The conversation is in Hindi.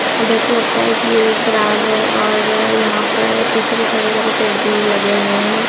देखकर लगता है कि यह ग्राज है और यहाँ पर पीछे कुछ हरे भरे पेड़ भी लगे हुए हैं।